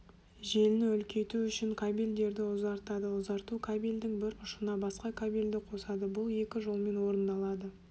желіні үлкейту үшін кабельдерді ұзартады ұзарту кабельдің бір ұшына басқа кабельді қосады бұл екі жолмен орындалады